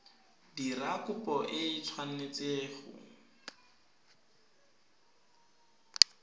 dira kopo e tshwanetse go